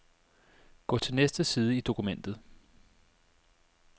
Gå til næste side i dokumentet.